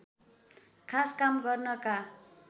खास काम गर्नका